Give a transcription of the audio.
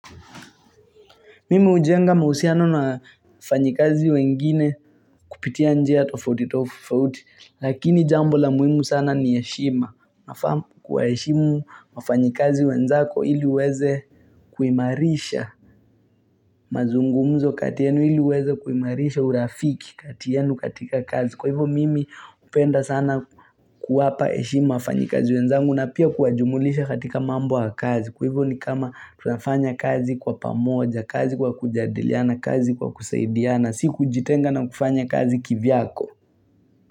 Mimi hujenga mahusiano na wafanyikazi wengine kupitia njia tofautitofauti, lakini jambo la muhimu sana ni heshima. Kuwaheshimu wafanyikazi wenzako ili uweze kuimarisha mazungumzo kati yenu ili uweze kuimarisha urafiki kati yenu katika kazi. Kwa hivyo mimi hupenda sana kuwapa heshima wafanyikazi wenzangu na pia kuwajumulisha katika mambo wa kazi. Kwa hivyo ni kama tunafanya kazi kwa pamoja, kazi kwa kujadiliana, kazi kwa kusaidiana Sikujitenga na kufanya kazi kivyako.